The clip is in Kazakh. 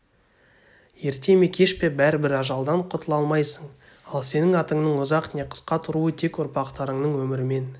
ерте ме кеш пе бәрібір ажалдан құтыла алмайсың ал сенің атыңның ұзақ не қысқа тұруы тек ұрпақтарыңның өмірімен